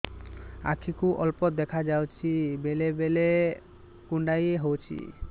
ଆଖି କୁ ଅଳ୍ପ ଦେଖା ଯାଉଛି ବେଳେ ବେଳେ କୁଣ୍ଡାଇ ହଉଛି